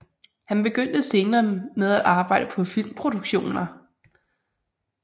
Han begyndte senere med at arbejde på filmproduktioner